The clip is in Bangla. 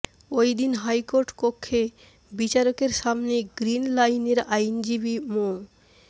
ওই দিন হাইকোর্ট কক্ষে বিচারকের সামনে গ্রিনলাইনের আইনজীবী মো